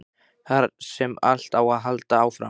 Þar sem allt á að halda áfram.